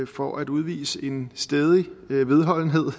for at udvise en stædig vedholdenhed